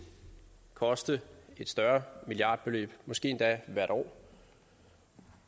koste et større milliardbeløb måske endda hvert år